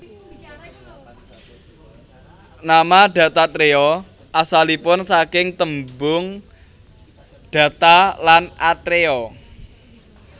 Nama Dattatreya asalipun saking tembung datta lan atreya